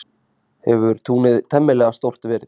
Hefur túnið temmilega stórt verið.